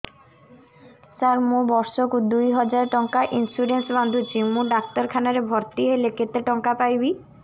ସାର ମୁ ବର୍ଷ କୁ ଦୁଇ ହଜାର ଟଙ୍କା ଇନ୍ସୁରେନ୍ସ ବାନ୍ଧୁଛି ମୁ ଡାକ୍ତରଖାନା ରେ ଭର୍ତ୍ତିହେଲେ କେତେଟଙ୍କା ପାଇବି